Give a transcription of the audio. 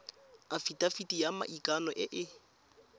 afitafiti ya maikano e e